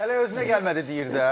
Hələ özünə gəlmədi deyir də.